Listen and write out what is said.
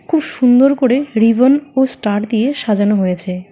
খুব সুন্দর করে রিবন ও স্টার দিয়ে সাজানো হয়েছে।